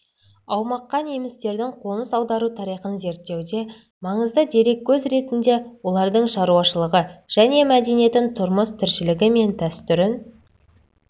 аумаққа немістердің қоныс аудару тарихын зерттеуде маңызды дереккөз ретінде олардың шаруашылығы және мәдениетін тұрмыс-тіршілігі мен дәстүрін